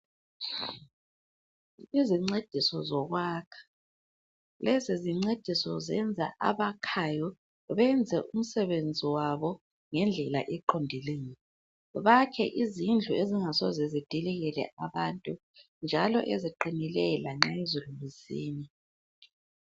Izincediso zokwakha, lezi zincediso zenza abakhayo benze umsebenzi wabo ngendlela eqondileyo. Bakhe izindlu ezingasoze zidilikele abantu njalo eziqinileyo lanxa izulu lisina.